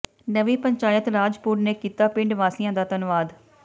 ਨਵੀਂ ਪੰਚਾਇਤ ਰਾਜਪੁਰ ਨੇ ਕੀਤਾ ਪਿੰਡ ਵਾਸੀਆਂ ਦਾ ਧੰਨਵਾਦ